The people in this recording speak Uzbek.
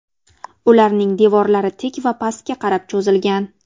Ularning devorlari tik va pastga qarab cho‘zilgan.